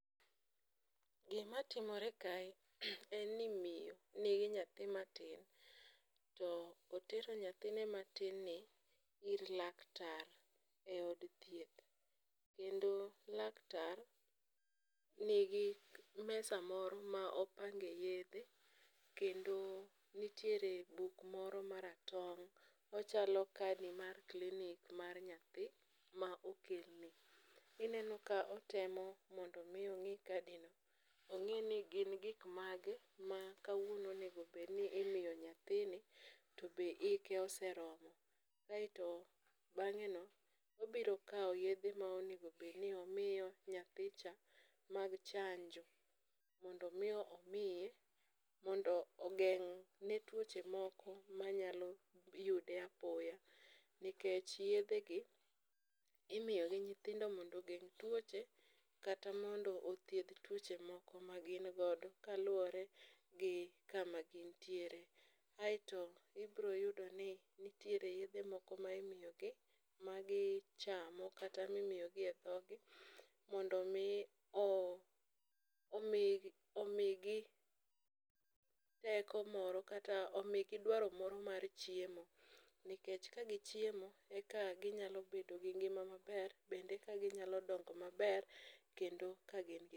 Gimatimore kae en ni miyo nigi nyathi matin, otero nyathine matinni ir laktar e od thieth, kendo laktar nigi mesa moro ma opange yedhe ,kendo nitiere buk moro maratong'.ochalo kadi mar klinik mar nyathi ma okelni. Ineno ka otemo mondo omi ong'i kadino, ong'i ni gin gik mage ma kawuono onego obed ni imyo nyathini, to be hike oseromo. aeto be bang'eno, obiro kawo yedhe ma onego obed ni omiyo nyathicha mag chanjo mondo omi omiye mondo ogeng' ne tuoche moko manyalo yude apoya, nikech yedhegi, imiyogi nyithindo mondo ogeng' tuoche kata mondo othiedh tuoche moko ma gin godo kaluwore gi kaka gintiere. Aeto ibiro yudoni nitiere yedhe moko ma imiyogi ma gichamo kata mimiyogi e dhoggi mondo omi omigi teko moro kata omigi dwaro moro mar chiemo nikech kagichiemo eka ginyalo bedo gi ngima maber ,bende eka ginyalo dongo maber kendo ka gin gi teko.